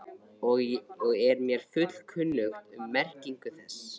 og er mér fullkunnugt um merkingu þess.